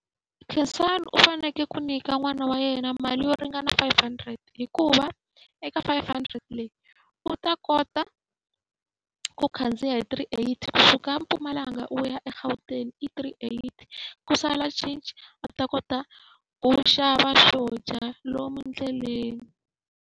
Khensani u fanekele ku nyika n'wana wa yena mali yo ringana five hundred hikuva, eka five hundred leyi u ta kota ku khandziya hi three eighty. Ku suka eMpumalanga u ya eGauteng i three eighty, ku sala cinci a ta kota ku xava swo dya lomu ndleleni.